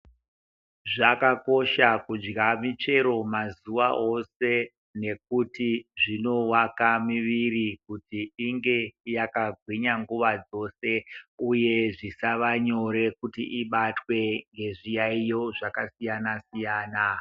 Zvakakosha kudya michero mazuva ose nekuti zvinowaka miviri kuti tinge takagwinya nguva dzose uye zvisava nyore kuti ibatwe ngezviyayoyo zvakasiyana siyana